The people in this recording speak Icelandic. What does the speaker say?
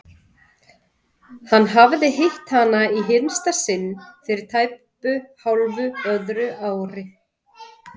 Hann hafði hitt hana í hinsta sinn fyrir tæpu hálfu öðru ári.